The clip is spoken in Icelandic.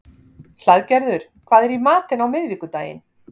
Hlaðgerður, hvað er í matinn á miðvikudaginn?